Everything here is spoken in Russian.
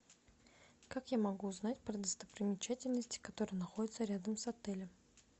как я могу узнать про достопримечательности которые находятся рядом с отелем